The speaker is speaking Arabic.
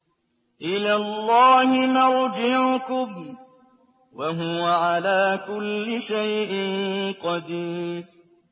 إِلَى اللَّهِ مَرْجِعُكُمْ ۖ وَهُوَ عَلَىٰ كُلِّ شَيْءٍ قَدِيرٌ